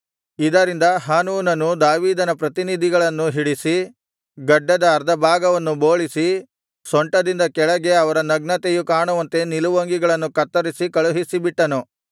ಇದರಿಂದ ಹಾನೂನನು ದಾವೀದನ ಪ್ರತಿನಿಧಿಗಳನ್ನು ಹಿಡಿಸಿ ಗಡ್ಡದ ಅರ್ಧ ಭಾಗವನ್ನು ಬೋಳಿಸಿ ಸೊಂಟದಿಂದ ಕೆಳಗೆ ಅವರ ನಗ್ನತೆಯು ಕಾಣುವಂತೆ ನಿಲುವಂಗಿಗಳನ್ನು ಕತ್ತರಿಸಿ ಕಳುಹಿಸಿಬಿಟ್ಟನು